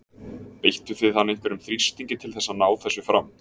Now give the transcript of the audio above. Beittu þið hann einhverjum þrýstingi til þess að ná þessu fram?